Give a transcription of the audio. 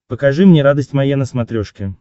покажи мне радость моя на смотрешке